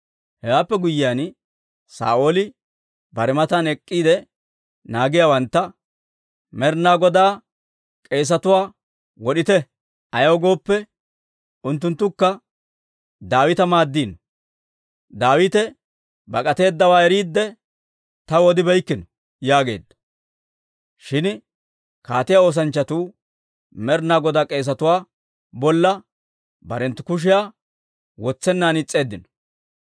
Hewaappe guyyiyaan, Saa'ooli bare matan ek'k'iide naagiyaawantta, «Med'inaa Godaa k'eesetuwaa wod'ite; ayaw gooppe, unttunttukka Daawita maaddeeddino; Daawite bak'ateeddawaa eriidde, taw odibeykkino» yaageedda. Shin kaatiyaa oosanchchatuu Med'inaa Godaa k'eesatuwaa bolla barenttu kushiyaa wotsennan is's'eeddino.